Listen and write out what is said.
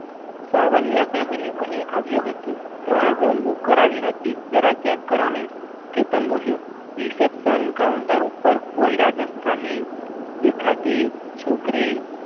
Savaliya family અહીં આવ્યું હતું ત્રણ room book કરાવી હતી જરા check કરો ને કેતન બોલ્યો reception counter ઉપર કોઈ રાજસ્થાની દેખાતી છોકરી